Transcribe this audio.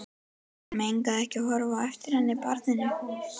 Megnaði ekki að horfa á eftir henni, barninu.